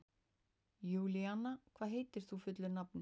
Júlíanna, hvað heitir þú fullu nafni?